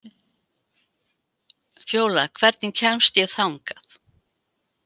Fjólar, hvernig kemst ég þangað?